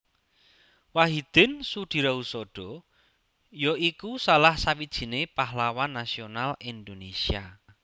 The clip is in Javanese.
Wahidin Soedirohoesodo ya iku salah sawijiné pahlawan nasional Indonesia